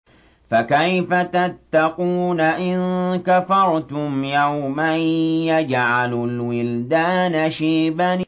فَكَيْفَ تَتَّقُونَ إِن كَفَرْتُمْ يَوْمًا يَجْعَلُ الْوِلْدَانَ شِيبًا